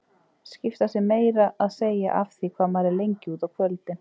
Skipta sér meira að segja af því hvað maður er lengi úti á kvöldin!